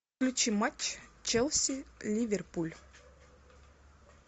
включи матч челси ливерпуль